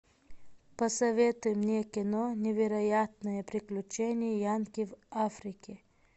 посоветуй мне кино невероятные приключения янки в африке